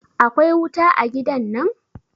akwai wuta a gidan nan?